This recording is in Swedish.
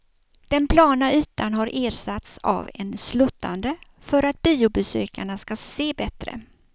Den plana ytan har ersatts av en sluttande för att biobesökarna ska se bättre.